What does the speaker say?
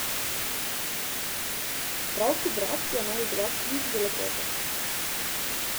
Prav hidracija naj bi bila ključ do lepote.